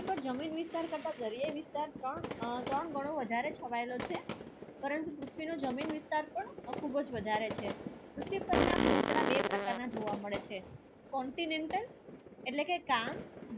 પૃથ્વી પર જમીન વિસ્તાર કરતા દરીએ ની વિસ્તાર કા આ ત્રણ વધારે છવાયલો છે પરંતુ પૃથ્વી જમીન વિસ્તાર પણ આ ખુબજ વધારે છે પૃથ્વી પર ના પોપડા બે પ્રકાર ના જોવા મળે છે continental ઍટલે કે કામ